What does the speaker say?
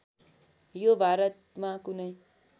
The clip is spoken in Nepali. यो भारतमा कुनै